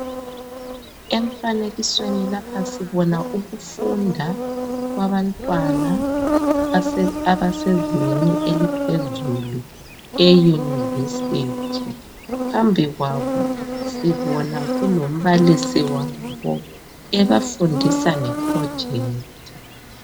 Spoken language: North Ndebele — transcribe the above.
Emfanekisweni lapha sibona ukufunda kwabantwana abasezingeni eliphezulu eYunivesithi. Phambi kwabo sibona kulombalisi wabo ebafundisa nge projector.